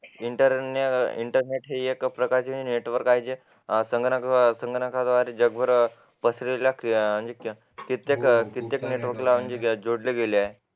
internet network आहे संगणकाद्वारे जगभर पसरवले आणि सगळ्या नेटवर्कला जोडले गेले आहे